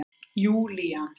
Júlían